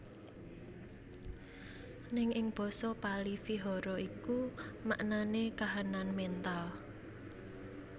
Ning ing basa Pâli Vihara iku maknane kahanan mental